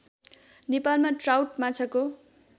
नेपालमा ट्राउट माछाको